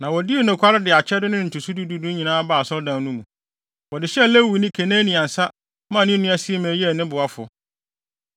Na wodii nokware de akyɛde no ne ntotoso du du no nyinaa baa Asɔredan no mu. Wɔde hyɛɛ Lewini Kenania nsa maa ne nua Simei yɛɛ ne boafo.